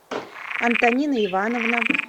антонина ивановна